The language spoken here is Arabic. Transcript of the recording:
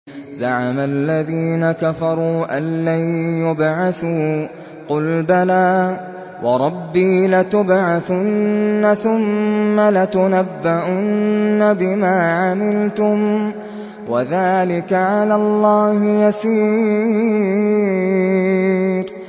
زَعَمَ الَّذِينَ كَفَرُوا أَن لَّن يُبْعَثُوا ۚ قُلْ بَلَىٰ وَرَبِّي لَتُبْعَثُنَّ ثُمَّ لَتُنَبَّؤُنَّ بِمَا عَمِلْتُمْ ۚ وَذَٰلِكَ عَلَى اللَّهِ يَسِيرٌ